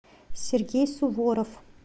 сергей суворов